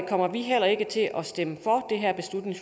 kommer vi heller ikke til at stemme